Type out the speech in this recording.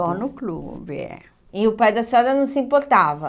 Só no clube, é. E o pai da senhora não se importava?